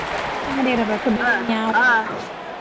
FM ಇರ್ಬೆಕ ಬೇರೆ ಯಾವ್ದು .